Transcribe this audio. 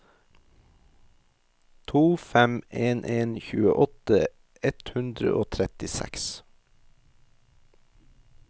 to fem en en tjueåtte ett hundre og trettiseks